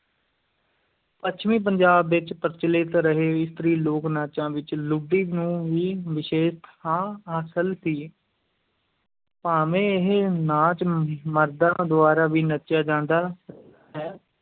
ਪੱਛਮੀ-ਪੰਜਾਬ ਵਿੱਚ ਪ੍ਰਚਲਿਤ ਰਹੇ ਇਸਤਰੀ ਲੋਕ-ਨਾਚਾਂ ਵਿੱਚ ਲੁੱਡੀ ਨੂੰ ਵੀ ਵਿਸ਼ੇਸ਼ ਥਾਂ ਹਾਸਲ ਸੀ ਭਾਵੇਂ ਇਹ ਨਾਚ ਮਰਦਾਂ ਦੁਆਰਾ ਵੀ ਨੱਚਿਆ ਜਾਂਦਾ ਹੈ,